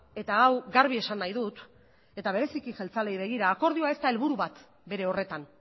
eta hau garbi esan nahi dut eta bereziki jeltzaleei begira ez da helburu bat bere horretan